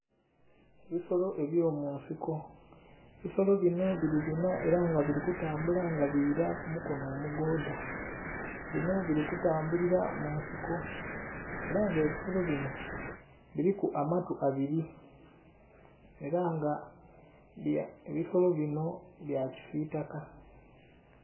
Ebisolo ebyo munsiko, ebisolo binho bili binna era nga bili kutambula nga bila ku mukono omugodha, binho bili kutambulila mu nsiko era nga ebisolo binho biliku amatu abiri era nga ebisolo binho bya kisitaka.